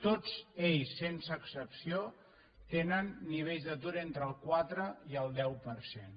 tots ells sense excepció tenen nivells d’atur entre el quatre i el deu per cent